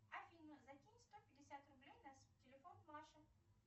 афина закинь сто пятьдесят рублей на телефон маша